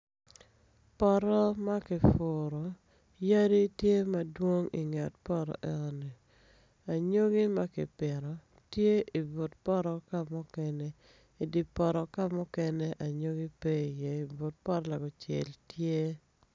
Poto ma ki furu yadi tye madwong inget poto eno-ni anyogi ma gipito tye ibut poto ka mukene idi poto kamukene anyogi pe iye obut poto lakucel tye